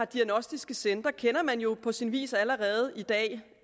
diagnostiske centre kender man jo på sin vis allerede i dag